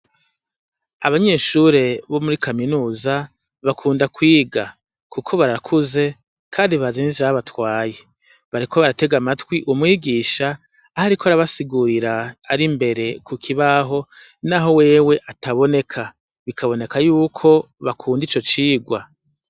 Abanyeshure bo muri kaminuza bakunda kwiga kuko barakuze kandi bazi nicabatwaye, bariko baratega amatwi umwigisha aho ariko arabasigurira ari imbere kukibaho naho wewe ataboneka, bikaboneka yuko bakunda ico cigwa.